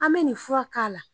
An bɛ nin fura k'a la